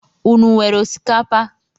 Ụnụ wéré osikapa?